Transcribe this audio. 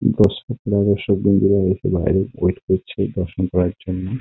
বৈষ্ণব নগর সব বন্ধুরা বাইরে ওয়েট ; করছে দর্শন করার জন্য ।